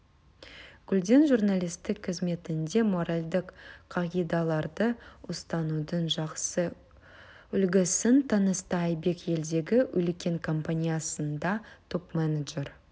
гүлден журналистік қызметінде моральдық қағидаларды ұстанудың жақсы үлгісін танытса айбек елдегі үлкен компаниясында топ-менеджер